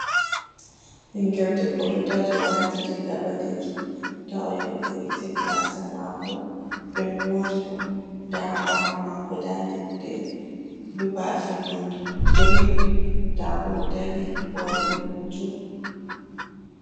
Ɓingel debbo ɗo dari owati riga ɓalejum nda oyahi ovo'itini gasa mako ɓe mori mo, nda ha ɓawo mako nda leɗde bafe man green ndamo odari owaɗi hoto.